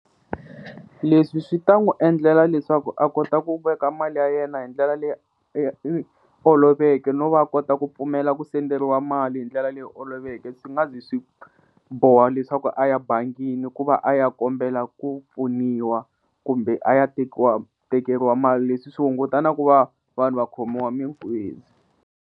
Leswi swi ta n'wi endlela leswaku a kota ku veka mali ya yena hi ndlela leyi oloveke no va kota ku pfumela ku senderiwa mali hi ndlela leyi oloveke swi nga zi swi boha leswaku a ya bangini ku va a ya kombela ku pfuniwa kumbe a ya tekiwa, tekeriwa mali leswi swi hunguta na ku va vanhu va khomiwa minkuzi.